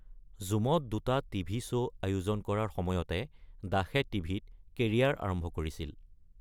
ঝুমত দুটা TV. Show আয়োজন কৰাৰ সময়তে দাসে টি.ভি.ত কেৰিয়াৰৰ আৰম্ভ কৰিছিল।